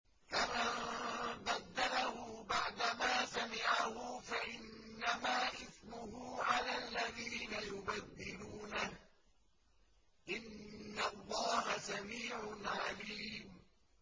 فَمَن بَدَّلَهُ بَعْدَمَا سَمِعَهُ فَإِنَّمَا إِثْمُهُ عَلَى الَّذِينَ يُبَدِّلُونَهُ ۚ إِنَّ اللَّهَ سَمِيعٌ عَلِيمٌ